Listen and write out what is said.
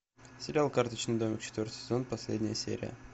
сериал карточный домик четвертый сезон последняя серия